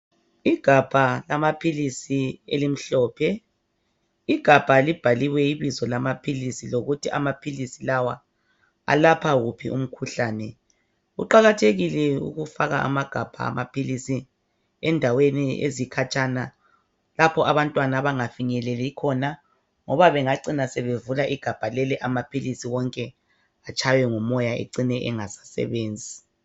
Igabha lamaphilisi elimhlophe, igabha libhaliwe ibizo lamaphilisi, lokuthi amaphilisi lawa alapha wuphi umkhuhlane. Kuqakathekile ukufaka amagabha amaphilisi endaweni abantwana abangafinyeleli khona ngoba bengacina bevula igabha leli amaphilisi wonke atshaywe ngumoya ecine engasasebenzi.